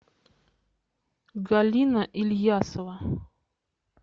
галина ильясова